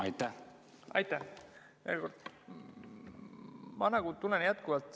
Aitäh!